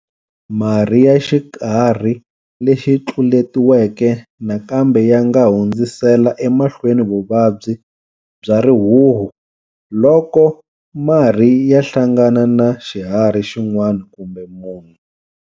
Marhi ya xiharhi lexi tluletiweke nakambe ya nga hundzisela emahlweni vuvabyi bya rihuhu loko marhi ya hlangana na xiharhi xin'wana kumbe munhu.